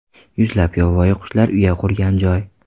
Yuzlab yovvoyi qushlar uya qurgan joy.